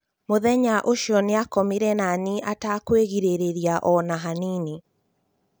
Mũthenya ũcio nĩakomire naniĩ atakwĩgĩrĩrĩria ona hanini